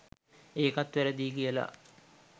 ඒකත් වැරදියි කියලා